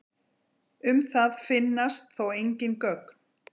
Um það finnast þó engin gögn.